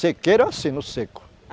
Sequeiro é assim, no seco.